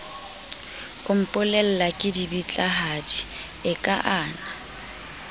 o mpolella kedibitlahadi e kaana